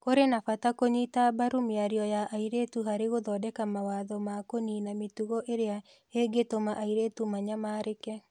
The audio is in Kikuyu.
Kũrĩ na bata wa kũnyita mbaru mĩario ya airĩtu harĩ gũthondeka mawatho ma kũniina mĩtugo ĩrĩa ĩngĩtũma airĩtu manyamarĩke.